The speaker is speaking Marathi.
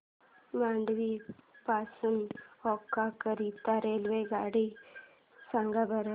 मांडवी पासून ओखा करीता रेल्वेगाड्या सांगा बरं